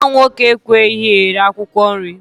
Nwa m nwoke ekweghị eri akwụkwọ nri